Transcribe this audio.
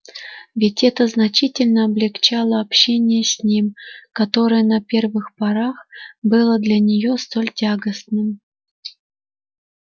ведь это значительно облегчало общение с ним которое на первых порах было для неё столь тягостным